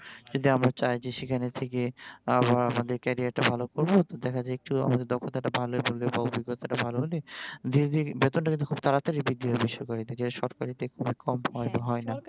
যদি আমরা চাই যে সেখানে থেকে আবার আমাদের career টা ভালো করবো তো দেখা যায় যে আমাদের দক্ষতা টা ভালো হলে বা অভিজ্ঞতা টা ভালো হলে দিনে দিনে বেতনটা কিন্তু খুব তাড়াতাড়িই বৃদ্ধি পায় বেসরকারিতে কিন্তু তরকারিতে এত কম সময়ে হয় না